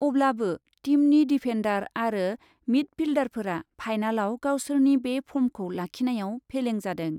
अब्लाबो टीमनि डिफेन्डार आरो मिडफिल्डारफोरा फाइनालाव गावसोरनि बे फर्मखौ लाखिनायाव फेलें जादों।